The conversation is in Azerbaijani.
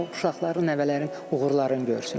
O uşaqların, nəvələrin uğurlarını görsün.